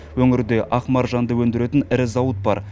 өңірде ақ маржанды өндіретін ірі зауыт бар